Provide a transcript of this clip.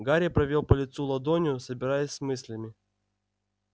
гарри провёл по лицу ладонью собираясь с мыслями